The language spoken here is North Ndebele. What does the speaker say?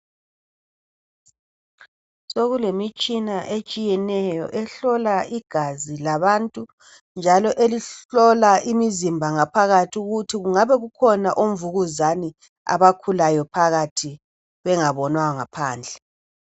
Sokulemitshina etshiyeneyo ehlola igazi labantu njalo elihlola imizimba ngaphakathi kungabe kukhona umvukuzane abakhulayo phakathi bengabonwanga phandle.